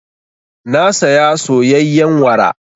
Na saya soyayyen wara.